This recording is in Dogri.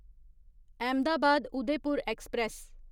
अहमदाबाद उदयपुर एक्सप्रेस